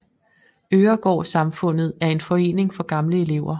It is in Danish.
Øregård Samfundet er en forening for gamle elever